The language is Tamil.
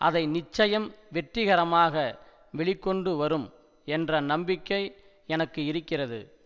அதை நிச்சயம் வெற்றிகரமாக வெளிகொண்டு வரும் என்ற நம்பிக்கை எனக்கு இருக்கிறது